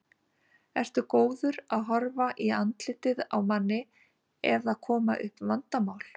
Ertu góður að horfa í andlitið á manni ef það koma upp vandamál?